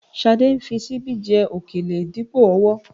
Ṣadé ń fi ṣíbí jẹ òkèlè dípò ọwọ́